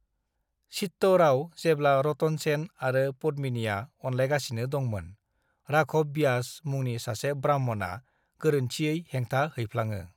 "चित्तौड़आव, जेब्ला रतन सेन आरो पद्मिनिया अनलायगासिनो दंमोन, राघव ब्यास मुंनि सासे ब्राह्मणआ गोरोन्थियै हेंथा हैफ्लाङो।"